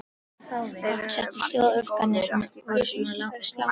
Okkur setti hljóð, öfgarnar voru svo sláandi.